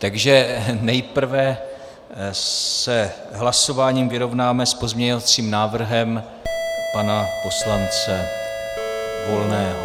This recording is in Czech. Takže nejprve se hlasováním vyrovnáme s pozměňovacím návrhem pana poslance Volného.